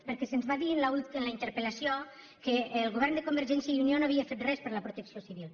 perquè se’ns va dir en la interpel·lació que el govern de convergència i unió no havia fet res per la protecció civil